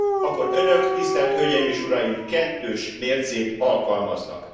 akkor Önök, tisztelt hölgyeim és uraim, kettős mércét alkalmaznak.